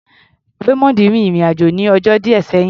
Raymond rin ìrìn-àjò ní ọjọ́ díẹ̀ sẹ́yìn.